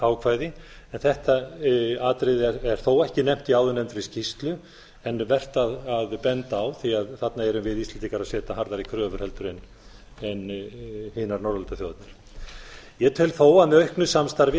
en þetta atriði er þó ekki nefnt í áðurnefndri skýrslu en vert að benda á því þarna erum við íslendingar að setja harðari kröfur heldur en hinar norðurlandaþjóðirnar ég tel þó að með auknu samstarfi